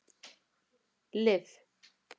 Liv